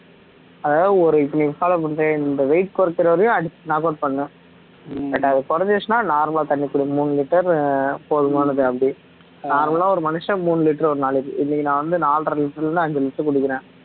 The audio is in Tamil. அதாவது ஒரு இப்ப நீ follow பண்றியா இந்த weight குறைக்கிற வரையும் அடிச்சு knock out பண்ணு but அது குறைஞ்சிடுச்சுனா normal ஆ தண்ணி குடி மூணு liter ஆஹ் போதுமானது அப்படி normal ஆ ஒரு மனுஷன் மூணு liter ஒரு நாளைக்கு இன்னைக்கு நான் வந்து நாலரை liter ல இருந்து அஞ்சு liter வரை குடிக்கிறேன்